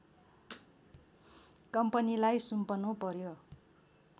कम्पनीलाई सुम्पनु पर्‍यो